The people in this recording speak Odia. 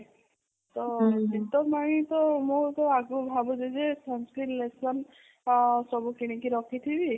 ତ ଭାବୁଛି ଯେ sun skin lotion ଅଁ ସବୁ କିଣିକି ରଖିଥିବି